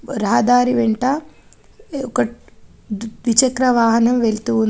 రహదారి వెంట ఒక డి-ద్విచక్ర వాహనం వెళ్తూ ఉంది.